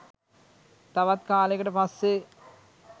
තවත් කාලෙකට පස්සෙ